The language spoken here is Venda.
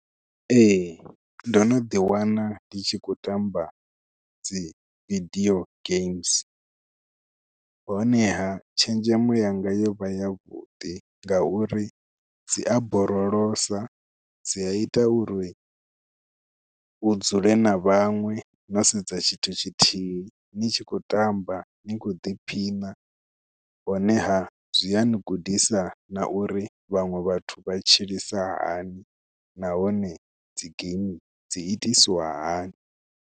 Ee ndo no ḓiwana ndi tshi khou tamba dzi vidio games honeha tshenzhemo yanga yo vha yavhuḓi ngauri dzi a borolosa, dzi a ita uri u dzule na vhaṅwe no sedza tshithu tshithihi ni tshi khou tamba ni khou ḓiphina honeha zwi a ni gudisa na uri vhaṅwe vhathu vha tshilisa hani nahone dzi game dzi itisiwa hani.